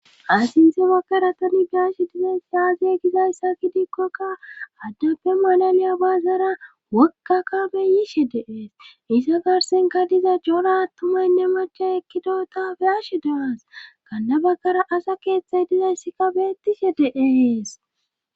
Asinte bakkara tani beashe dizay saazey gizayssa kidikkokka addappe malaliya baazara wokka kabeyishe deees isa garsenka diza jola attumaynne macha ekkidota beashe deaas kanna bakara asa keeththey dizayssikka beettishe dees